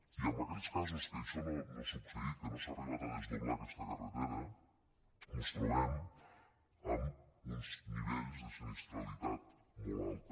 i en aquells casos en què això no ha succeït que no s’ha arribat a desdoblar aquesta carretera mos trobem amb uns nivells de sinistralitat molt alta